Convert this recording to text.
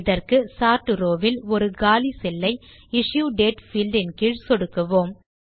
இதற்கு sort row வில் ஒரு காலி செல் லை இஷ்யூடேட் பீல்ட் கீழ் சொடுக்குவோம்